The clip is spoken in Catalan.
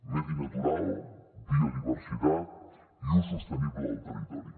medi natural biodiversitat i ús sostenible del territori